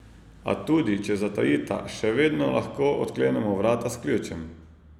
A tudi če zatajita, še vedno lahko odklenemo vrata s ključem!